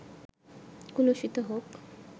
কলুষিত হোক